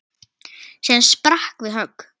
sem sprakk við högg.